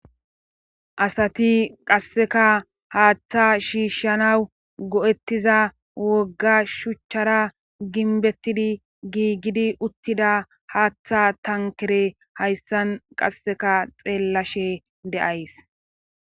Asati qasseka haaththa shiishshanaw go'ettiza wogga shuchchara ginbettidi giigidi uttida haaththa tankere hayssan qasseka xeellashe de'ays.